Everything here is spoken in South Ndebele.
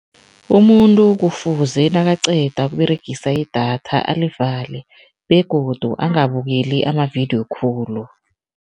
Umuntu kufuze nakaqeda ukUberegisa idatha alivalile begodu angabukeli amavidiyo khulu.